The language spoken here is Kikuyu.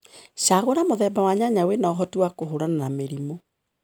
Cagũra mũthemba wa nyanya wĩna ũhoti wa kũhũrana na mĩrimũ.